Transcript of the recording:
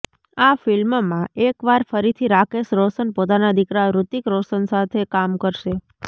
આ ફિલ્મમાં એકવાર ફરીથી રાકેશ રોશન પોતાના દિકરા ઋતિક રોશન સાથે કામ કરશે